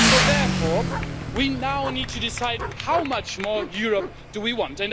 So therefore, we now need to decide how much more Europe do we want?